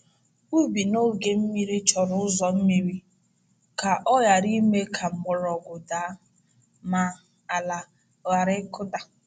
Ubi n’oge mmiri chọrọ ụzọ mmiri ka ọ ghara ime ka mgbọrọgwụ daa ma ala ghara ịkụda.